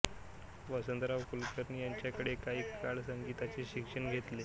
वसंतराव कुलकर्णी यांच्याकडे काही काळ संगीताचे शिक्षण घेतले